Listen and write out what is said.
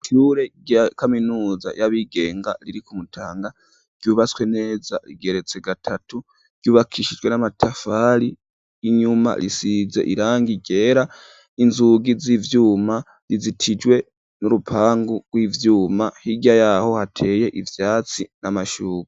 Ishure rya kaminuza yabigenga riri ku Mutanga ryubatswe neza rigeretse gatatu, ryubakishijwe n'amatafari, inyuma risize irangi ryera, inzugi z'ivyuma rizitijwe n'urupangu rw'ivyuma ,hirya yaho hateye ivyatsi n'amashugwe.